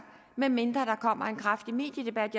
medmindre der kommer en kraftig mediedebat